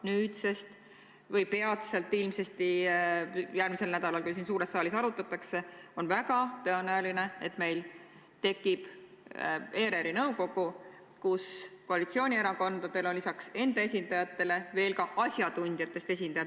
Nüüd peatselt ilmsesti ka siin suures saalis seda arutatakse ja on väga tõenäoline, et meil tekib ERR-i nõukogu, kus koalitsioonierakondadel on lisaks enda esindajatele veel ka asjatundjatest esindajad.